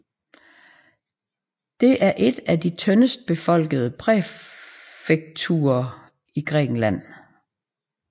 Det er et af de tyndest befolkede præfekturer i Grækenland